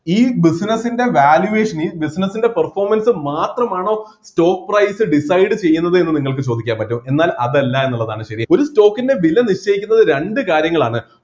ഈ business ൻ്റെ valuation ന് business ൻ്റെ performance മാത്രമാണോ stock price decide ചെയ്യുന്നത് എന്ന് നിങ്ങൾക്ക് ചോദിക്കാൻ പറ്റും എന്നാൽ അതല്ല എന്നുള്ളതാണ് ശരി ഒരു stock ൻ്റെ വില നിശ്ചയിക്കുന്നത് രണ്ട് കാര്യങ്ങളാണ്